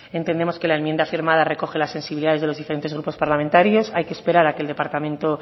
entendemos que la enmienda firmada recoge las sensibilidades de los diferentes grupos parlamentarios hay que esperar a que el departamento